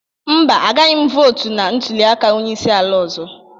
Mba, agaghị m votu na ntuli aka onye isi ala ọzọ